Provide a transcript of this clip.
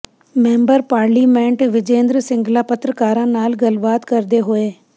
member parliament Vijayinder Singla ਪੱਤਰਕਾਰਾਂ ਨਾਲ ਗੱਲਬਾਤ ਕਰਦੇ ਹੋਏ